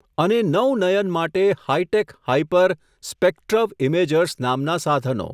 અને નૌ નયન માટે હાઈટેક હાઈપર, સ્પેકટ્રવ ઇમેજર્સ નામના સાધનો.